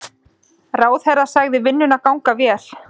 Ráðherra sagði vinnuna ganga vel.